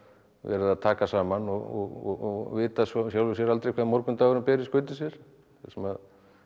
verið að taka saman og vita svo í sjálfu sér aldrei hvað morgundagurinn ber í skauti sér þar sem